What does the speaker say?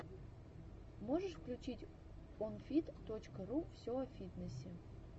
можешь включить онфит точка ру все о фитнесе